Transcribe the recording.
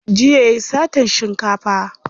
Jiya yayi satan shinkafa.